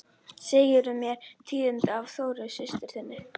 Segirðu mér tíðindi af Þórunni systur þinni?